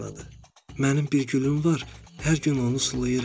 Mənim bir gülüm var, hər gün onu sulayıram.